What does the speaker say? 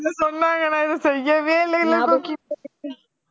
சொன்னாங்க நான் எதுவும் செய்யவே இல்லையில்ல கோக்கி